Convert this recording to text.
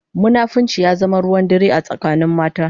Munafunci ya zama ruwan dare a tsakanin mata.